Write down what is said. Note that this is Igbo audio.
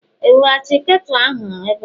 eweghachiri ketu ahụ ebe?